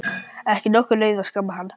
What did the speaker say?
Ekki nokkur leið að skamma hann.